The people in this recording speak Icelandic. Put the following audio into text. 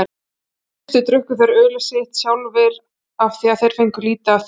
Í fyrstu drukku þeir ölið sitt sjálfir af því þeir fengu lítið af því.